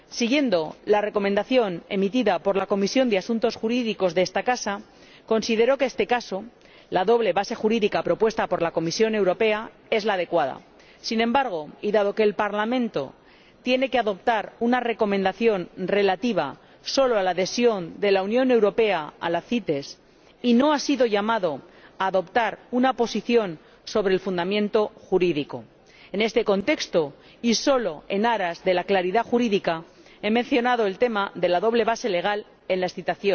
En la opinión emitida por la Comisión de Asuntos Jurídicos de esta casa se consideró que, en este caso, la doble base jurídica propuesta por la Comisión Europea es la adecuada. Sin embargo, y dado que el Parlamento tiene que adoptar una recomendación relativa solo a la adhesión de la Unión Europea a la CITES, y no ha sido llamado a adoptar una posición sobre el fundamento jurídico, nos hemos limitado, en este contexto y solo en aras de la claridad jurídica, a mencionar el tema de la doble base jurídica en los vistos.